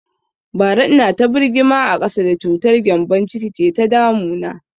Bara ina ta birgima a ƙasa da cutar gembon ciki ke ta damu na